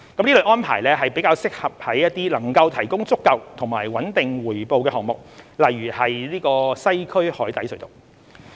這類安排較適用於能夠提供足夠和穩定回報的項目，例如西區海底隧道。